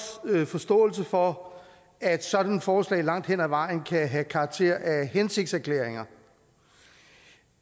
forståelse for at sådan et forslag langt hen ad vejen kan have karakter af hensigtserklæringer